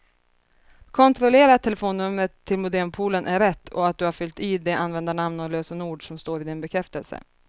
Kontrollera att telefonnumret till modempoolen är rätt och att du har fyllt i det användarnamn och lösenord som står i din bekräftelse.